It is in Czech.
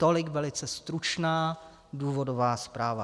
Tolik velice stručná důvodová zpráva.